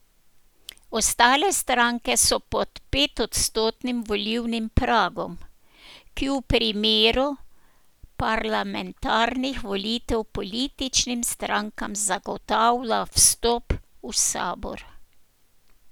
Ostale stranke so pod petodstotnim volilnim pragom, ki v primeru parlamentarnih volitev političnim strankam zagotavlja vstop v sabor.